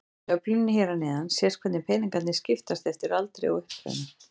Í töflunni hér að neðan sést hvernig peningarnir skiptast eftir aldri og uppruna.